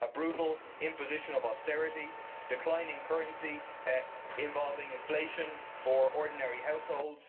a brutal imposition of austerity declining currency involving inflation for ordinary households